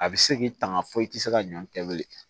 A bɛ se k'i tanga fɔ i tɛ se ka ɲɔ kɛ bilen